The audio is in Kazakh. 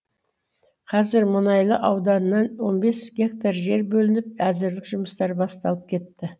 қазір мұнайлы ауданынан он бес гектар жер бөлініп әзірлік жұмыстары басталып кетті